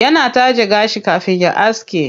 Yana taje gashi kafin ya aske.